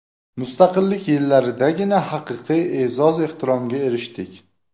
Mustaqillik yillaridagina haqiqiy e’zoz-ehtiromga erishdik.